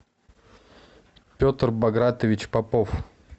петр багратович попов